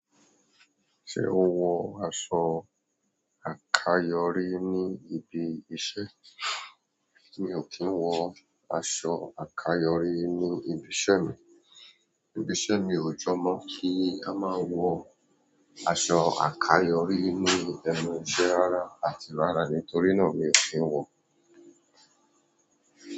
Ṣé o wọ aṣọ àkayòrí ní ibi iṣẹ́? Mi ò kí ń wọ aṣọ àkayòrí ní ibi iṣẹ́ mi. Ibi iṣẹ́ mi ò jọmọ́ kí a máa wọ aṣọ àkayòrí ní nu ẹnu iṣẹ́ rara àti ara, nítorí náà mi ò kí ń wọ.